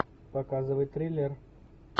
показывай триллер